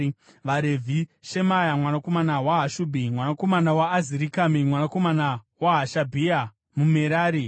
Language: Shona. VaRevhi: Shemaya mwanakomana waHashubhi, mwanakomana waAzirikami, mwanakomana waHashabhia, muMerari;